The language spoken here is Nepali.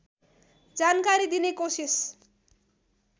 जानकारी दिने कोसिस